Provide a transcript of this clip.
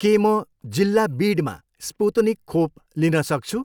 के म जिल्ला बिडमा स्पुत्निक खोप लिन सक्छु?